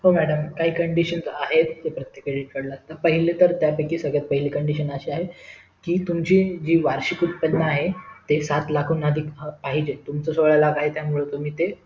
हो madam काही condition आहेत ते प्रत्येकाला पहिली तर त्या पैकी सर्वात पहिली condition तर तुमची वार्षिक सात लाख हुन अधिक पाहिजे तुमच सोळा लाख आहेत त्यामुळे तुम्ही ते